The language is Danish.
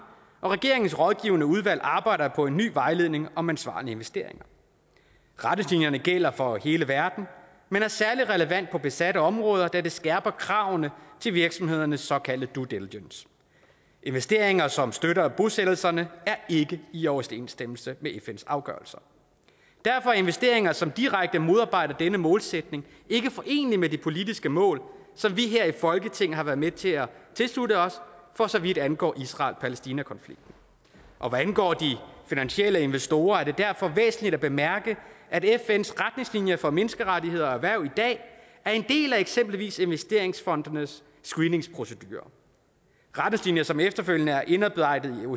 og regeringens rådgivende udvalg arbejder på en ny vejledning om ansvarlige investeringer retningslinjerne gælder for hele verden men er særlig relevant på besatte områder da det skærper kravene til virksomhedernes såkaldte due diligence investeringer som støtter bosættelserne er ikke i overensstemmelse med fns afgørelser og derfor er investeringer som direkte modarbejder denne målsætning ikke forenelige med det politiske mål som vi her i folketinget har været med til at tilslutte os for så vidt angår israel palæstina konflikten og hvad angår de finansielle investorer er det derfor væsentligt at bemærke at fns retningslinjer for menneskerettigheder og erhverv i dag er en del af eksempelvis investeringsfondenes screeningsprocedurer retningslinjer som efterfølgende er indarbejdet